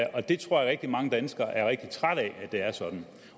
rigtig mange danskere er rigtig trætte af at det er sådan